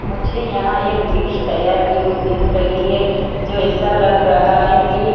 मुझे यहां एक डिश तैयार की हुई दिख रही है जो ऐसा लग रहा है कि--